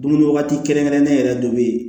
Dumuni waati kɛrɛnkɛrɛnnen yɛrɛ de bɛ yen